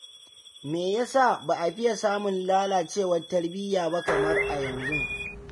Me ya sa ba a fiye samun lallacewar tarbiyya ba kamar a yanzu.